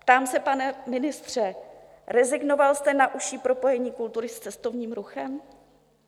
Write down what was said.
Ptám se, pane ministře, rezignoval jste na užší propojení kultury s cestovním ruchem?